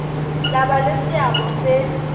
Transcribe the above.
tla ba le seabo se